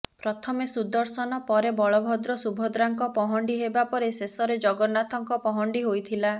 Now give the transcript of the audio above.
ପ୍ରଥମେ ସୁଦର୍ଶନ ପରେ ବଳଭଦ୍ର ସୁଭଦ୍ରାଙ୍କ ପହଣ୍ଡି ହେବା ପରେ ଶେଷରେ ଜଗନ୍ନାଥଙ୍କ ପହଣ୍ଡି ହୋଇଥିଲା